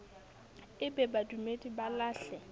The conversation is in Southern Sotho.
e be badumedi ba lahle